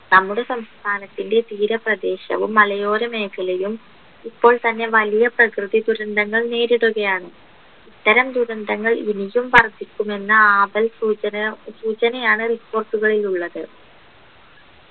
നമ്മുടെ സംസ്ഥാനത്തിൻ്റെ തീരപ്രദേശവും മലയോരമേഖലയും ഇപ്പോൾത്തന്നെ വലിയ പ്രകൃതി ദുരന്തങ്ങൾ നേരിടുകയാണ് ഇത്തരം ദുരന്തങ്ങൾ ഇനിയും വർധിക്കുമെന്ന ആപൽ സൂചന സൂചനയാണ് report കളിലുള്ളത്